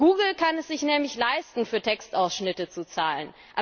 Google kann es sich nämlich leisten, für Textausschnitte zu zahlen.